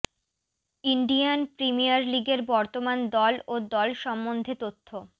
Indian premier লিগের বর্তমান দল ও দল সম্বন্ধে তথ্য